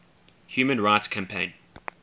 human rights campaign